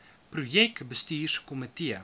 projek bestuurs komitee